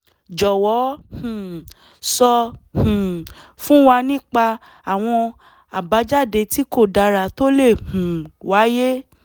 jọ̀wọ́ um sọ um fún wa nípa àwọn àbájáde tí kò dára tó le um wáyé